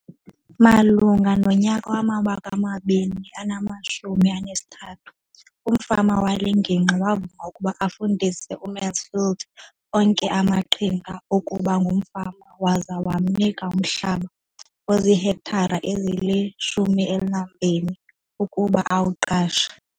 Malunga nonyaka wama-2013, umfama wale ngingqi wavuma ukuba afundise uMansfield onke amaqhinga okuba ngumfama waza wamnika umhlaba ozihektare ezili-12 ukuba awuqashe.